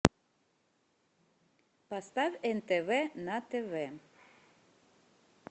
поставь нтв на тв